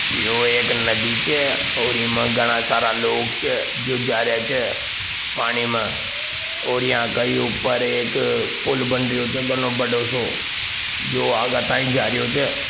यो एक नदी छ और इमा घणा सारा लोग छ जो जा रहिया छ पानी में और यहां कई ऊपर एक पुल बनरियो छो घणो बड़ो सो जो आगा ताई जा रहियो छ।